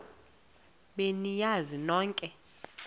be niyazi nonk